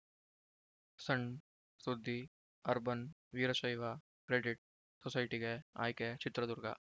ಸಣ್‌ ಸುದ್ದಿ urban Veerashaiva credit ಸೊಸೈಟಿಗೆ ಆಯ್ಕೆ ಚಿತ್ರದುರ್ಗ